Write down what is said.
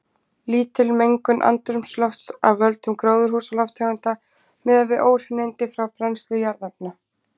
Lítil mengun andrúmslofts af völdum gróðurhúsalofttegunda miðað við óhreinindi frá brennslu jarðefna.